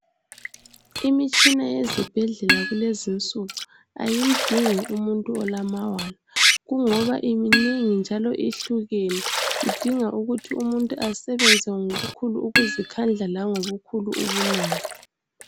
Imitshina yezibhedlela kulezinsuku ayimdingi umuntu olamawala kungoba iminengi njalo ihlukene idinga ukuba umuntu asebenze ngokukhulu ukuzikhandala langobukhulu ubunono.